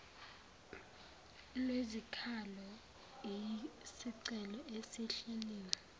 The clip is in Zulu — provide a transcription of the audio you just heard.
lwezikhalo iyisicelo esihleliwe